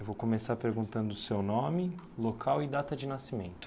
Eu vou começar perguntando o seu nome, local e data de nascimento.